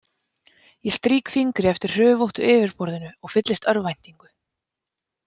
Ég strýk fingri eftir hrufóttu yfirborðinu og fyllist örvæntingu.